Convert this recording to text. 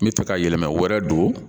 N bɛ fɛ ka yɛlɛma wɛrɛ don